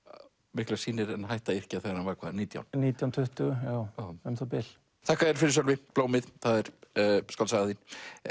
miklar sýnir en hætti að yrkja þegar hann var hvað nítján nítján til tuttugu já um það bil þakka þér fyrir Sölvi blómið það er skáldsagan þín